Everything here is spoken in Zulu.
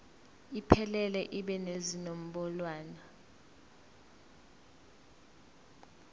iphelele ibe nezinombolwana